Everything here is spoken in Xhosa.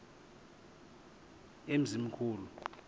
emzimkhulu